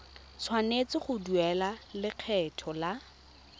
tshwanetse go duela lekgetho la